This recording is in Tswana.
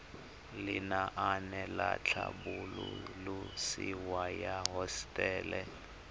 lenaane la tlhabololosewa ya hosetele